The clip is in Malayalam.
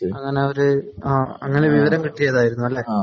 അങ്ങനെ ഒരു അങ്ങനെ വിവരം കിട്ടിയതായിരുന്നു അല്ലേ ?